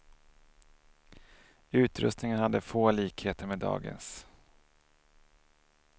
Utrustningen hade få likheter med dagens.